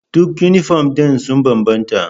Duk yunifom ɗin sun bambanta.